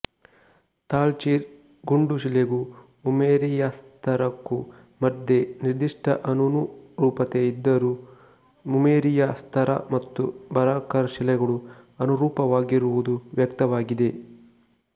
ತಾಲ್ಚೀರ್ ಗುಂಡುಶಿಲೆಗೂ ಉಮೇರಿಯಾಸ್ತರಕ್ಕೂ ಮಧ್ಯೆ ನಿರ್ದಿಷ್ಟ ಅನನುರೂಪತೆ ಇದ್ದರೂ ಉಮೇರಿಯಾ ಸ್ತರ ಮತ್ತು ಬರಕಾರ್ ಶಿಲೆಗಳು ಅನುರೂಪವಾಗಿರುವುದು ವ್ಯಕ್ತವಾಗಿದೆ